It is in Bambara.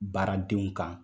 Baaradenw kan